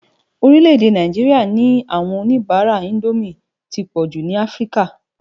Orílẹ̀-èdè Náijiriá ní áwòn ónibàrá Indómi ti pòjú ni Afrika.